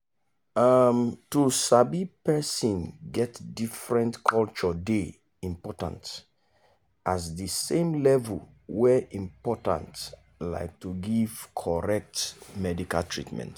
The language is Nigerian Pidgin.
um to sabi people get different culturdey important as the same level wey important like to give correct medical treatment.